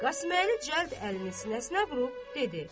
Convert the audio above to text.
Qasıməli cəld əlini sinəsinə vurub dedi: